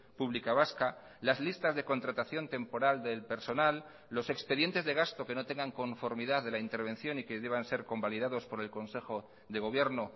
pública vasca las listas de contratación temporal del personal los expedientes de gasto que no tengan conformidad de la intervención y que deban ser convalidados por elconsejo de gobierno